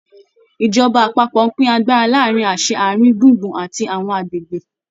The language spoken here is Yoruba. Ìjọba àpapọ̀ ń pín agbára láàrin àṣẹ ààrin gbùngbùn àti àwọn agbègbè.